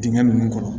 Dingɛ nunnu kɔnɔ